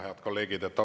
Head kolleegid!